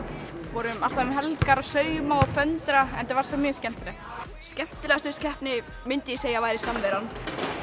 vorum alltaf um helgar að sauma og föndra en þetta var samt mjög skemmtilegt skemmtilegast við keppni myndi ég segja að væri samveran